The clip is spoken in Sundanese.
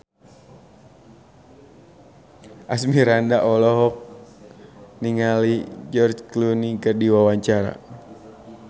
Asmirandah olohok ningali George Clooney keur diwawancara